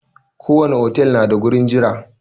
Ko wani otal na da gurin jira.